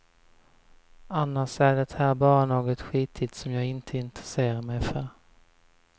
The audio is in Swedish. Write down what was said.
Annars är det här bara något skitigt som jag inte intresserar mig för.